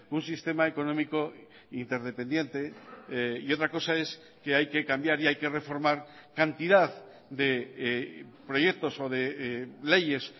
un sistema económico interdependiente y otra cosa es que hay que cambiar y hay que reformar cantidad de proyectos o de leyes